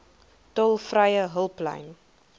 tolvrye hulplyn